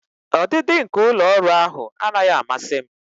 Ọdịdị nke ụlọ ọrụ ahụ anaghị amasị m.